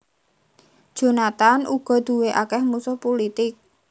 Jonathan uga duwé akèh musuh pulitik